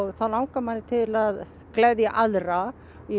þá langar manni til að gleðja aðra